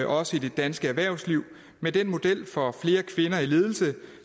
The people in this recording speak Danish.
også i det danske erhvervsliv med den model for flere kvinder i ledelse